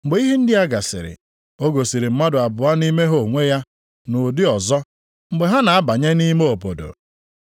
Mgbe ihe ndị a gasịrị, o gosiri mmadụ abụọ nʼime ha onwe ya nʼụdị ọzọ, mgbe ha na-abanye nʼime obodo.